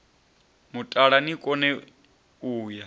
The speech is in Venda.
mutala ni kone u ya